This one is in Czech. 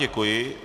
Děkuji.